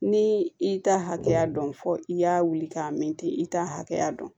Ni i ta hakɛya dɔn fɔ i y'a wuli k'a mɛn ten i t'a hakɛya dɔn